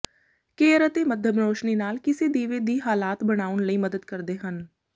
care ਅਤੇ ਮੱਧਮ ਰੋਸ਼ਨੀ ਨਾਲ ਕਿਸੇ ਦੀਵੇ ਦੀ ਹਾਲਾਤ ਬਣਾਉਣ ਲਈ ਮਦਦ ਕਰਦੇ ਹਨ